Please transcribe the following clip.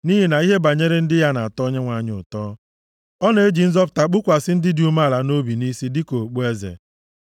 Nʼihi na ihe banyere ndị ya na-atọ Onyenwe anyị ụtọ. Ọ na-eji nzọpụta + 149:4 \+xt Abụ 132:16; Aịz 61:10\+xt* kpukwasị ndị dị umeala nʼobi nʼisi dịka okpueze.